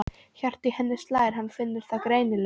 Hjartað í henni slær, hann finnur það greinilega.